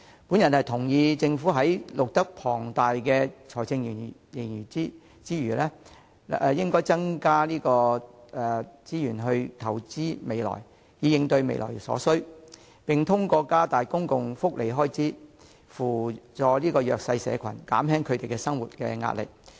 我同意政府在錄得龐大的財政盈餘時，應增加資源投資未來，以應對未來所需，也應透過加大公共福利支出，扶助弱勢社群，減輕他們生活的壓力。